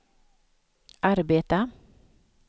arbeta